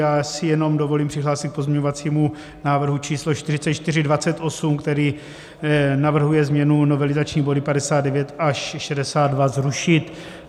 Já si jenom dovolím přihlásit k pozměňovacímu návrhu číslo 4428, který navrhuje změnu, novelizační body 59 až 62 zrušit.